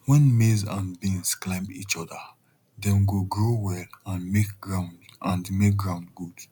when maize and beans climb each other dem go grow well and make ground and make ground good